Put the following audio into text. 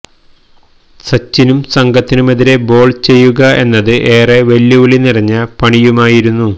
സച്ചിനും സംഘത്തിനുമെതിരെ ബോള് ചെയ്യുക എന്നത് ഏറെ വെല്ലുവിളി നിറഞ്ഞ പണിയുമായിരുന്നു